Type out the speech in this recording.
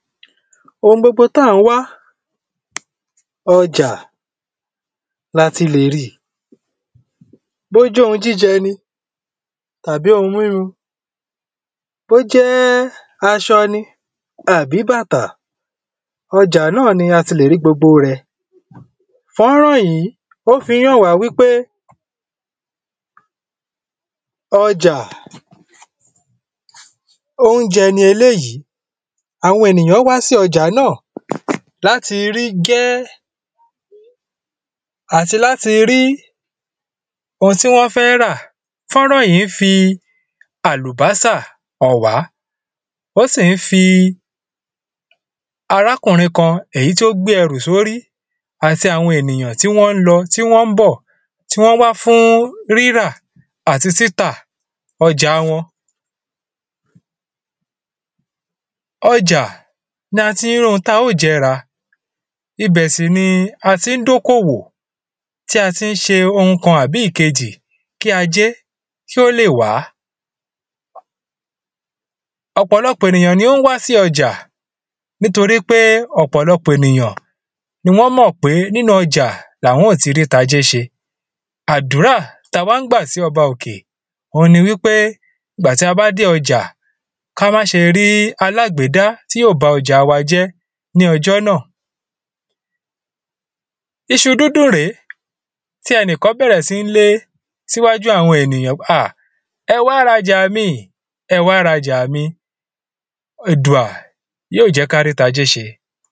oun gbogbo tí à ń wá ọjà ni a ti lè ri ì bí ó jẹ́ oun jíjẹ ni tàbí oun mímu bí ó jẹ́ aṣọ ni àbí bàtà ọjà náà ni a ti lè rí gbogbo rẹ̀ fọ́nrán yìí ó fi ń hàn wá wípé ọjà ounjẹ ni eléyì àwọn ènìyàn wá sí ọjà náà láti rí gẹ́ẹ́ àti láti rí oun tí wọ́n fẹ́ rà fọ́nrán yìí ń fi àlùbọ́sà hàn wá ó sì ń fi arákùnrin kan èyí tí ó gbé ẹ̀rù sí orí àti àwọn ènìyàn tí wọ́n ń lọ tí wọ́n ń bọ̀ tí wọ́n wá fún ríra àti títà ọjà wọn ọjà ni a ti ń rí oun tí a óò jẹ rà ibẹ̀ sì ni a ti ń dá oko òwò tí a ti ń ṣe oun kan àbí ìkejì kí ajẹ́ kí ó lè wá ọ̀pọ̀lọpọ̀ ènìyàn ni ó ń wá sí ọ̀jà nítorí pé ọ̀pọ̀lọpọ̀ ènìyàn ni wọ́n mọ̀ pé nínu ọ̀jà ni àwọn óò ti rí ti ajé ṣe àdúrà ti a máa ń gbà sí ọba òkè òun ni wípé ìgbà tí a bá dé ọjà kí á má ṣe rí alágbédá tí yóò ba ọjà wa jẹ́ ní ọjọ́ náà iṣu dúdùn rèé tí ẹnìkan bẹ̀rẹ̀ sí ń lé sí iwájú àwọn ènìyàn pé ah ẹ wá ra ọjà mi ìn ẹ wá ra ọjà mi ìn èdùà yóò jẹ́ kí a rí ti ajé ṣe